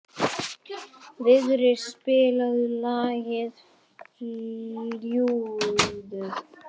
Vigri, spilaðu lagið „Fljúgðu“.